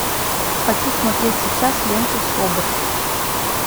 хочу смотреть сейчас ленту собр